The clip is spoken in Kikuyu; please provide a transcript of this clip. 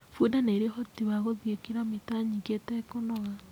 Bunda ni ĩrĩ ũhoti wa gũthiĩ kiromita nyĩngĩ ĩtekũnoga.